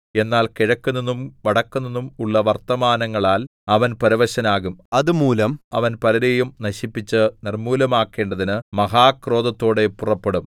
എന്നാൽ കിഴക്കുനിന്നും വടക്കുനിന്നും ഉള്ള വർത്തമാനങ്ങളാൽ അവൻ പരവശനാകും അതുമൂലം അവൻ പലരെയും നശിപ്പിച്ച് നിർമ്മൂലമാക്കേണ്ടതിന് മഹാക്രോധത്തോടെ പുറപ്പെടും